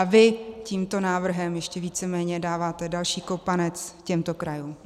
A vy tímto návrhem ještě víceméně dáváte další kopanec těmto krajům.